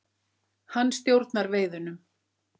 Hann stjórnar veiðunum.